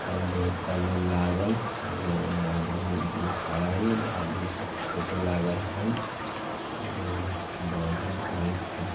अभी बहुत पहले लागल नया फोटो लागल हई औरो बॉल उल बरत हई।